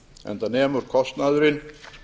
enda nemur kostnaðurinn